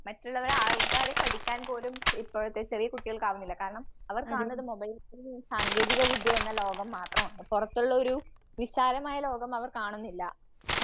മറ്റുള്ളവ ആൾക്കാരെ പഠിക്കാൻ പോലും ഇപ്പോഴത്തെ ചെറിയ കുട്ടികൾക്കാവുന്നില്ല. കാരണം അവർ കാണുന്നത് മൊബൈൽ എന്ന സാങ്കേതികവിദ്യ എന്ന ലോകം മാത്രമാണ്. പുറത്തുള്ളൊരു വിശാലമായ ലോകം അവർ കാണുന്നില്ല.